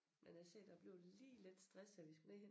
Men jeg siger dig jeg blev lige lidt stresset vi at skulle ned og hente